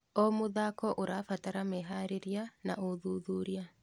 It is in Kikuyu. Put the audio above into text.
O mũthako ũrabatara meharĩrĩria na ũthuthuria.